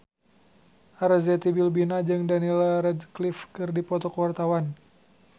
Arzetti Bilbina jeung Daniel Radcliffe keur dipoto ku wartawan